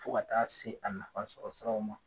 Fo ka taa se a nafa sɔrɔ siraw ma